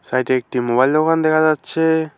সাইডে একটি মোবাইল দোকান দেখা যাচ্ছে।